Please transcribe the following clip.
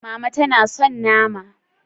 Mama tana son nama?